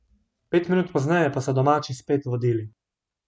Pet minut pozneje pa so domači spet vodili.